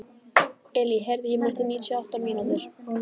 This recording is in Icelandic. Elí, heyrðu í mér eftir níutíu og átta mínútur.